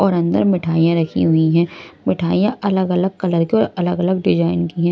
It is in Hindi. और अंदर मिठाइयां रखी हुई है मिठाइयां अलग अलग कलर के अलग अलग डिजाइन की हैं।